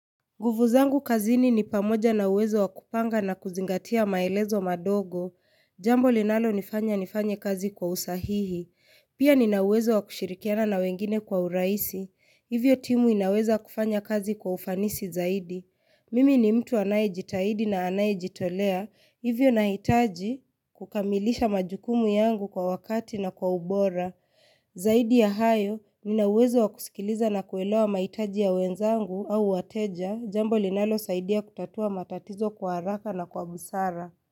Nguvu zangu kazini ni pamoja na uwezo wa kupanga na kuzingatia maelezo madogo. Jambo linalonifanya nifanye kazi kwa usahihi. Pia nina uwezo wa kushirikiana na wengine kwa urahisi. Hivyo timu inaweza kufanya kazi kwa ufanisi zaidi. Mimi ni mtu anayejitahidi na anayejitolea. Hivyo nahitaji kukamilisha majukumu yangu kwa wakati na kwa ubora. Zaidi ya hayo, nina uwezo wa kusikiliza na kuelewa mahitaji ya wenzangu au wateja. Jambo linalosaidia kutatua matatizo kwa haraka na kwa busara.